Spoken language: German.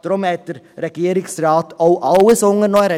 Daher hat der Regierungsrat auch alles unternommen.